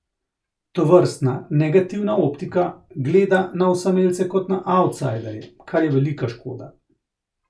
Tovrstna negativna optika gleda na osamelce kot na avtsajderje, kar je velika škoda.